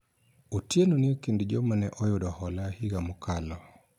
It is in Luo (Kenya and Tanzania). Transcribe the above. Otieno ni ekind joma ne oyudo hola higa mokalo